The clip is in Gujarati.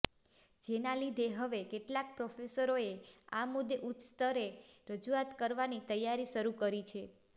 જેના લીધે હવે કેટલાક પ્રોફેસરોએ આ મુદ્દે ઉચ્ચસ્તરે રજૂઆત કરવાની તૈયારી શરૂ કરી છે